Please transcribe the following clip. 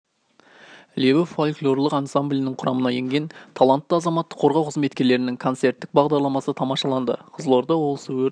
лебі фольклорлық ансамблінің құрамына енген талантты азаматтық қорғау қызметкерлерінің концерттік бағдарламасы тамашаланды қызылорда облысы өрт